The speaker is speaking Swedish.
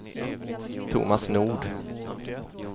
Thomas Nord